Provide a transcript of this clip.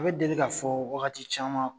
A bi deli ka fɔ wagati caman